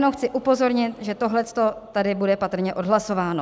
Jenom chci upozornit, že tohleto tady bude patrně odhlasováno.